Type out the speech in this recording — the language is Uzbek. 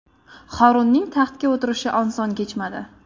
Horunning taxtga o‘tirishi oson kechmadi.